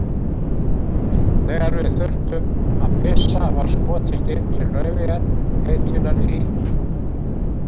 Þegar við þurftum að pissa var skotist inn til Laufeyjar heitinnar í